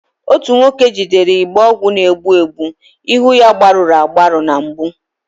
Otu nwoke jidere igbe ọgwụ na-egbu mgbu, ihu ya gbagọrọ agbagọ na mgbu